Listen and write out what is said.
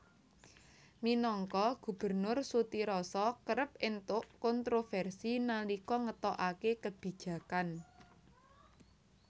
Minangka gubernur Sutiroso kerep entuk kontroversi nalika ngetokake kebijakan